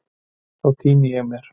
Þá týni ég mér.